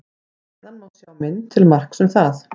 Hér að neðan má sjá mynd til marks um það.